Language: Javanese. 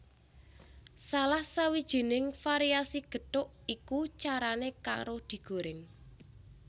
Salah sijining variasi gethuk iku carané karo digorèng